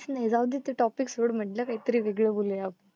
नाही जाऊदे ते topic सोड म्हणलं काही तरी वेगळं बोलूया आपन.